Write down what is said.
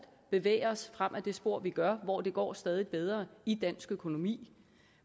bevæge os frem ad det spor vi gør hvor det går stadig bedre i dansk økonomi